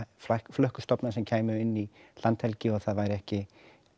flökkustofna sem kæmu inn í landhelgi og það væri ekki